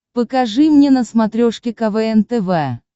покажи мне на смотрешке квн тв